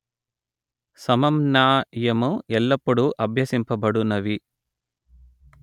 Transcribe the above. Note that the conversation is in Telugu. సమమ్నాయము ఎల్లప్పుడూ అభ్యసింపబడునవి